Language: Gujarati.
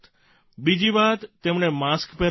બીજી વાત તેમણે માસ્ક પહેરવાનું છે